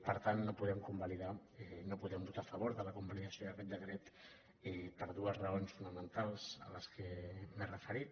per tant no podem convalidar no podem votar a fa·vor de la convalidació d’aquest decret per dues raons fonamentals a les quals m’he referit